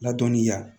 Ladɔnniya